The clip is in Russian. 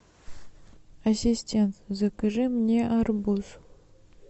ассистент закажи мне арбуз